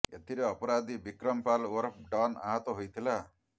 ଏଥିରେ ଅପରାଧୀ ବିକ୍ରମ ପାଲ୍ ଓରଫ ଡନ୍ ଆହତ ହୋଇଥିଲା